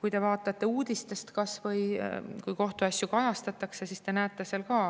Kui te vaatate kas või uudistest, kui kohtuasju kajastatakse, siis te näete ka,